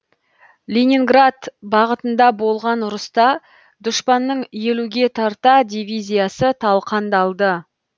ленинград бағытында болған ұрыста дұшпанның елуге тарта дивизиясы талқандалды